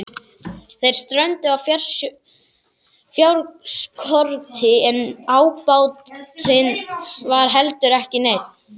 Þeir strönduðu á fjárskorti en ábatinn var heldur ekki neinn.